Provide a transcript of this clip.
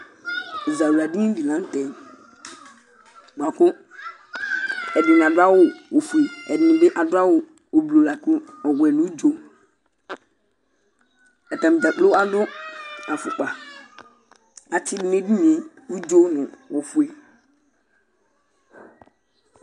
Ɛzawla dìní di la ntɛ bʋakʋ ɛdiní adʋ awu ɔfʋe, ɛdiní bi adu awu ʋblue lakʋ ɔwɛ nʋ ʋdzo Atani dzakplo adu afukpa Atsidu nʋ ɛdiní ye ʋdzo nʋ ɔfʋe